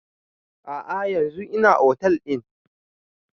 A'a yanzun ina otel ɗin